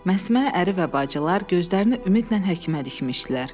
Məsmə əri və bacılar gözlərini ümidlə həkimə dikmişdilər.